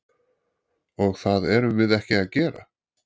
Og það erum við ekki að gera?